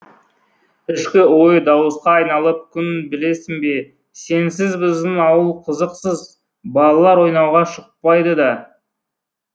ішкі ойы дауысқа айналып күн білесің бе сенсіз біздің ауыл қызықсыз балалар ойнауға шықпайды да